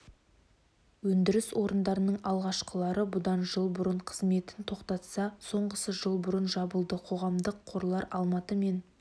өндіріс орындарының алғашқылары бұдан жыл бұрын қызметін тоқтатса соңғысы жыл бұрын жабылды қоғамдық қорлар алматы мен